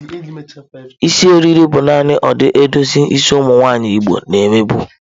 Isi eriri bụ nani ụdị edozi isi ụmụ nwanyị igbo na eme bụ.